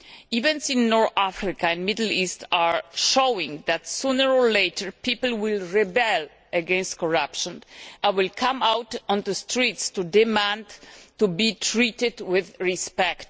Events in North Africa and the Middle East are showing that sooner or later people will rebel against corruption and will come out on the streets to demand to be treated with respect.